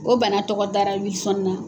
O bana tɔgɔ dara Wilson na